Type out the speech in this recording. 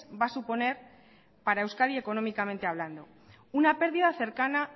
va a suponer para euskadi económicamente hablando una pérdida cercana